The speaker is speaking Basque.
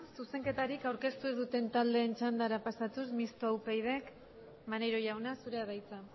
zuzenketarik aurkeztu ez duten taldeen txandara pasatuz mistoa upydk maneiro jauna zurea da hitza